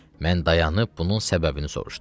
Mən dayanıp bunun səbəbini soruşdum.